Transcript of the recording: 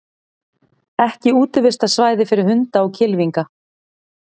Ekki útivistarsvæði fyrir hunda og kylfinga